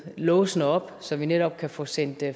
låsene op så vi netop kan få sendt